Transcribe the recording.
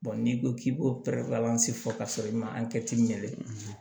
n'i ko k'i b'o fɔ ka sɔrɔ i ma